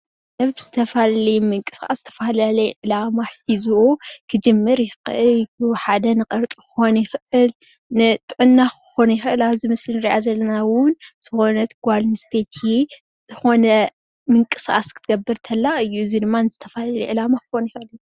ሰብ ዝተፈላለየ ምንቅስቃስ ዝተፈላለየ ዕላማ ሒዙ ክጅምር ይኽእል እዩ። ሓደ ንቅርፂ ክከውን ይኽእል ንጥዕና ክኸውን ይኽእል። ኣብዚ ምስሊ ንርእያ ዘለና እውን ዝኾነት ጓል ኣንስትየቲ ዝኾነ ምንቅስቃስ ክትገብር እንተላ እዩ። እዚ ድማ ንዝተፈላለየ ዕላማ ክኸውን ይኽእል እዩ።